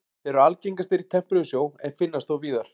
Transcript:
Þeir eru algengastir í tempruðum sjó en finnast þó víðar.